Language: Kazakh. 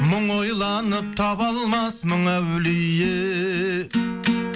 мың ойланып таба алмас мың әулие